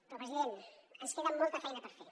però president ens queda molta feina per fer